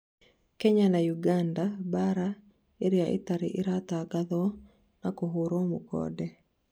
Kenya na Uganda: 'mbara iria itarĩ iratangathwo na kũhũrwo mũkonde